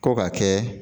Ko ka kɛ